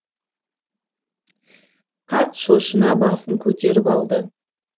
қарт шошына басын көтеріп алды